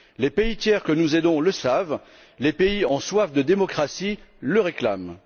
Les pays tiers que nous aidons le savent, les pays en soif de démocratie le réclament.